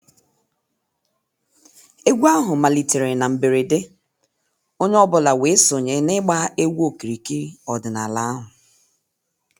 Egwu ahụ malitere na mberede, onye ọ bụla wee sonye na ịgba egwu okirikiri ọdịnala ahụ.